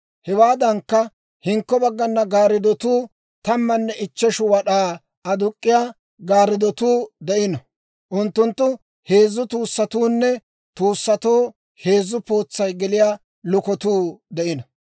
Hewaadankka, hinkko baggana gaarddotuu tammanne ichcheshu wad'aa aduk'k'iyaa gaarddotuu de'ino; unttunttoo heezzu tuussatuunne tuussatoo heezzu pootsay geliyaa lukotuu de'ino.